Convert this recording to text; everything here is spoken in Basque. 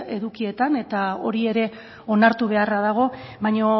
edukietan eta hori ere onartu beharra dago baina